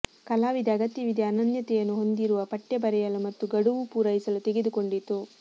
ಕಲಾವಿದ ಅಗತ್ಯವಿದೆ ಅನನ್ಯತೆಯನ್ನು ಹೊಂದಿರುವ ಪಠ್ಯ ಬರೆಯಲು ಮತ್ತು ಗಡುವು ಪೂರೈಸಲು ತೆಗೆದುಕೊಂಡಿತು